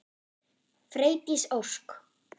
Freydís Ósk.